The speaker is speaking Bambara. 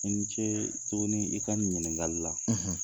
I ni ce tuguni i ka nin ɲininnkali la.